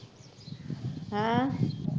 ਹੈਂ